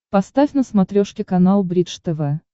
поставь на смотрешке канал бридж тв